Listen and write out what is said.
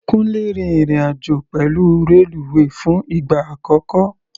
Kúńlé rin ìrìn-àjò pẹ̀lú reluwe fún ìgbà àkọ́kọ́.